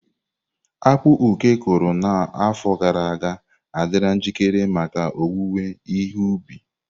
Akpu Oke kụrụ n’afọ gara aga adịla njikere maka owuwe ihe ubi.